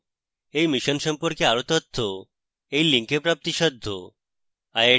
এই মিশনের সম্পর্কে আরো তথ্য এই link প্রাপ্তিসাধ্য